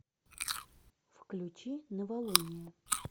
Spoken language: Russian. включи новолуние